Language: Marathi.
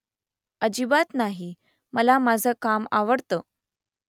अजिबात नाही . मला माझं काम आवडतं